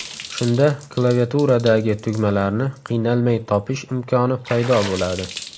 Shunda klaviaturadagi tugmalarni qiynalmay topish imkoni paydo bo‘ladi.